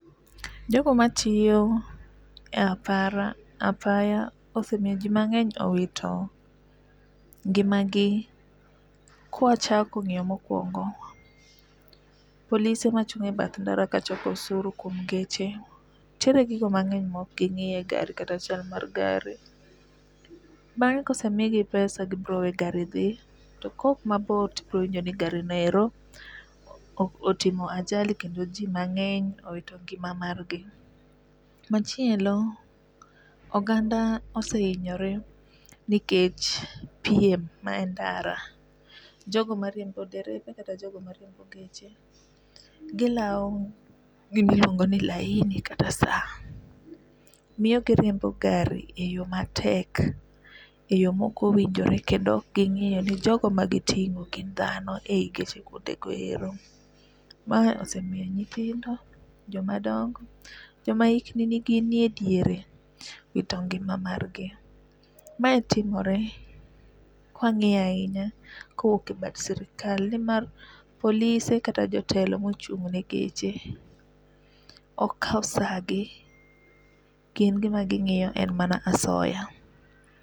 Jogo matiyo e apara apaya osemiyo ji mang'eny owito ngima gi kwa chako ng'iyo mokwongo, polise machung' e bath ndara kachoko usuru kuom geche nitiere gigo mang'eny mok gingi' e gari kata chal mar gari. Bang'e kose migi pesa gibiro we gari dhi. To kok mabor to ibiro winjo ni gari no ero otimo ajali kendo ji mang'eny owito ngima mar gi. Machielo oganda esehinyore nikech piem ma e ndara. Jogo mariembo derepe kata jogo mariembo geche gilaw gimiluongo ni laini kata sa miyo giriembo gari e yo matek, e yo mokowinjore kendo ok ging'iyo ni jogo ma gitingo gin dhano e yi geche go eko ero. Mae osemiyo nyithindo, joma dongo, joma hikgi ni ediere owito ngima mar gi. Mae timore kwang'iyo ahinya kowuok e bad sirkal nimar polise kata jotelo kata mochung ne geche ok kaw saa gi. Gin gima ging'iyo en mana asoya.